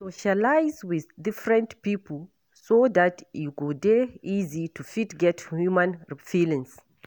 Socialize with different pipo so dat e go dey easy to fit get human feelings